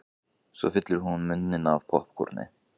Svo fyllir hún munninn af poppkorni.